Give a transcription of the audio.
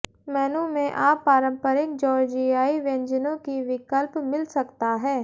मेनू में आप पारंपरिक जॉर्जियाई व्यंजनों की विकल्प मिल सकता है